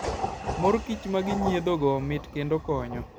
Mor kich ma ginyiedhogo, mit kendo konyo.